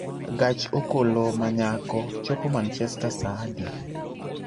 gach okolo ma nyako chopo manchester saa adi